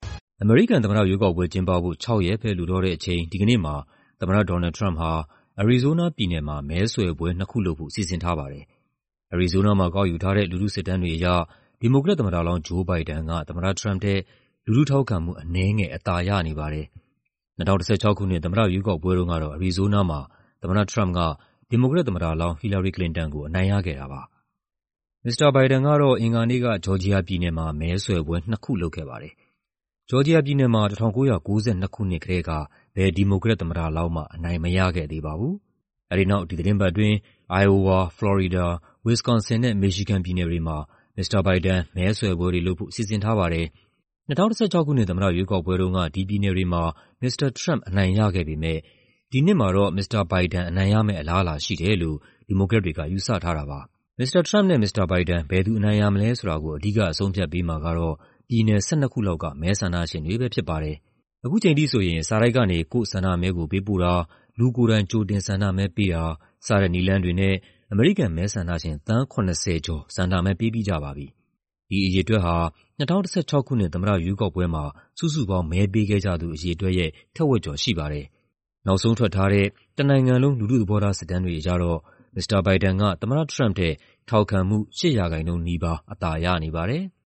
အမေရိကန်သမ္မတရွေးကောက်ပွဲ ကျင်းပဖို့ ၆ ရက်ပဲ လိုတော့တဲ့အချိန် ဒီကနေ့မှာ သမ္မတ ဒေါ်နယ်လ်ဒ် ထရမ့်ပ်ဟာ အရီဇိုးနားပြည်နယ်မှာ မဲဆွယ်ပွဲနှစ်ခု လုပ်ဖို့ စီစဉ်ထားပါတယ်။ အရီဇိုးနားမှာ ကောက်ယူထားတဲ့ လူထုစစ်တမ်းတွေအရ ဒီမိုကရက်သမ္မတလောင်း Joe Biden က သမ္မတထရမ့်ပ်ထက် လူထုထောက်ခံမှု အနည်းငယ် အသာရနေပါတယ်။ ၂၀၁၆ ခုနှစ် သမ္မတရွေးကောက်ပွဲတုန်းကတော့ အရီဇိုးနားမှာ သမ္မတထရမ့်ပ်က ဒီမိုကရက်သမ္မတလောင်း ဟီလာရီ ကလင်တန်ကို အနိုင်ရခဲ့တာပါ။ မစ္စတာဘိုင်ဒန်ကတော့ အင်္ဂါနေ့က ဂျော်ဂျီယာပြည်နယ်မှာ မဲဆွယ်ပွဲနှစ်ခု လုပ်ခဲ့ပါတယ်။ ဂျော်ဂျီယာပြည်နယ်မှာ ၁၉၉၂ ခုနှစ်ကတည်းက ဘယ် ဒီမိုကရက်သမ္မတလောင်းမှ အနိုင်မရခဲ့သေးပါဘူး။ အဲဒီနောက် ဒီသီတင်းပတ်အတွင်း အိုင်အိုဝါ၊ ဖလော်ရီဒါ၊ ဝစ္စကွန်ဆင်နဲ့ မီရှီဂန်ပြည်နယ်တွေမှာ မစ္စတာဘိုင်ဒန် မဲဆွယ်ပွဲတွေလုပ်ဖို့ စီစဉ်ထားပါတယ်။ ၂၀၁၆ ခုနှစ် သမ္မတရွေးကောက်ပွဲတုန်းက ဒီပြည်နယ်တွေမှာ မစ္စတာထရမ့်ပ် အနိုင်ရခဲ့ပေမဲ့ ဒီနှစ်မှာ မစ္စတာဘိုင်ဒန် အနိုင်ရမယ့် အလားအလာရှိတယ်လို့ ဒီမိုကရက်တွေက ယူဆထားတာပါ။ မစ္စတာထရမ့်ပ်နဲ့ မစ္စတာဘိုင်ဒန် ဘယ်သူအနိုင်ရမလဲဆိုတာကို အဓိက အဆုံးအဖြတ်ပေးမှာကတော့ ပြည်နယ် ၁၂ ခုလောက်က မဲဆန္ဒရှင်တွေပဲဖြစ်ပါတယ်။ ခုချိန်ထိဆိုရင် စာတိုက်ကနေ ကိုယ့်ဆန္ဒမဲကိုပေးပို့တာ၊ လူကိုယ်တိုင် ကြိုတင်ဆန္ဒမဲပေးတာစတဲ့ နည်းလမ်းတွေနဲ့ အမေရိကန်မဲဆန္ဒရှင် သန်း ၇၀ ကျော် ဆန္ဒမဲပေးပြီးကြပါပြီ။ ဒီအရေအတွက်ဟာ ၂၀၁၆ ခုနှစ် သမ္မတရွေးကောက်ပွဲမှာ စုစုပေါင်း မဲပေးခဲ့ကြသူအရေအတွက်ရဲ့ ထက်ဝက်ကျော် ရှိပါတယ်။ နောက်ဆုံးထွက်ထားတဲ့ တနိုင်ငံလုံး လူထုသဘောထားစစ်တမ်းတွေအရတော့ မစ္စတာဘိုင်ဒန်က သမ္မတထရမ့်ပ်ထက် ထောက်ခံမှု ၈ ရာခိုင်နှုန်း နီးပါး အသာရနေပါတယ်။